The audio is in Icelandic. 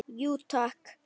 Jú, takk.